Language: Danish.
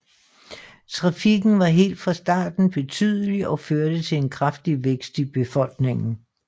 Trafikken var helt fra starten betydelig og førte til en kraftig vækst i befolkningen